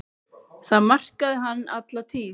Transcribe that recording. Það markaði hann alla tíð.